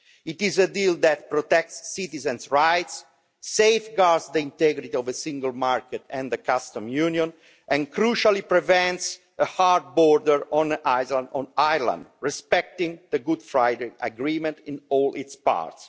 It is a deal that protects citizens' rights, safeguards the integrity of the single market and the customs union and, crucially, prevents a hard border on the island of Ireland, respecting the Good Friday Agreement in all its parts.